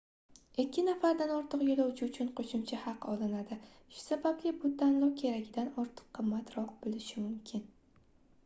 2 nafardan ortiq yoʻlovchi uchun qoʻshimcha haq olinadi shu sababli bu tanlov keragidan ortiq qimmatroq boʻlishi mumkin